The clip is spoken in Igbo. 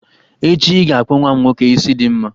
Echi, I ga-akpụ nwa m nwoke isi dị mma